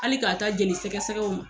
Hali k'a ta jeli sɛgɛ sɛgɛ o ma.